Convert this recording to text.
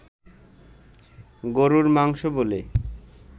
গরুর মাংস বলে